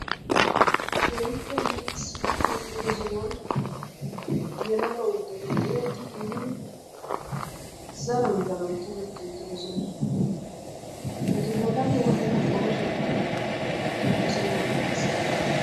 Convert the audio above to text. keehippe liiqissid hem''ido sohuwan yelaga uuttati ciirettidi giigi zaran zara tokketti uttidoosona. etu bollappe wodhdhida qonashshekka he sohuwan dees.